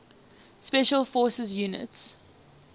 special forces units